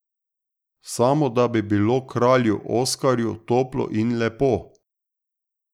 Samo da bi bilo Kralju Oskarju toplo in lepo.